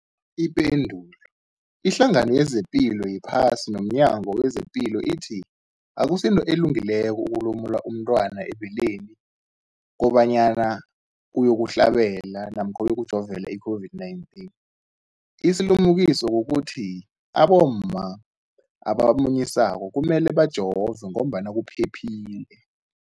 Ipendulo, iHlangano yezePilo yePhasi nomNyango wezePilo ithi akusinto elungileko ukulumula umntwana ebeleni kobanyana uyokuhlabela namkha uyokujovela i-COVID-19. Isilimukiso kukuthi abomma abamunyisako kumele bajove ngoba kuphephile.